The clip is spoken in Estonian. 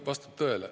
Vastab tõele.